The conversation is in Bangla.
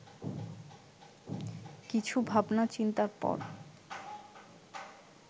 কিছু ভাবনাচিন্তার পর